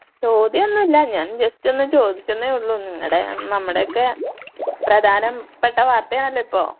ചോദ്യം ഒന്നൂല്ല ഞാൻ ജസ്റ്റ് ഒന്ന് ചോദിച്ചെന്നെ ഒള്ളു നിങ്ങടെ നമ്മടൊക്കെ പ്രധാനം പെട്ട വാർത്ത ആണലോ ഇപ്പോ.